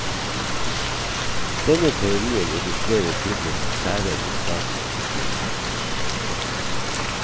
Denne teorien illustrerer filmens særegne status som mistenkelig.